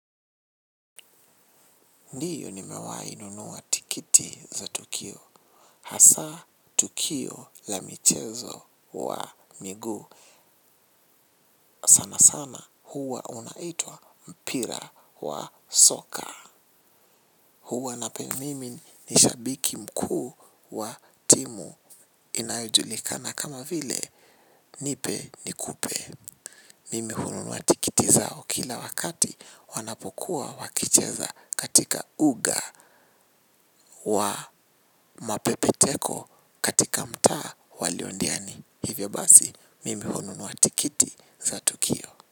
Ndiyo nimewahi nunua tikiti za tukio. Hasa tukio la michezo kwa miguu sana sana huwa unaitwa mpira wa soka. Huwa napenda mimi ni shabiki mkuu wa timu inayojulikana kama vile nipe nikupe. Mimi hununua tikiti zao kila wakati wanapokuwa wakicheza katika uga. Wa mapepeteko katika mtaa wa liondiani hivyo basi mimi hununua tikiti za tukio.